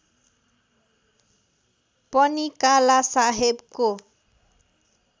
पनि काला साहेबको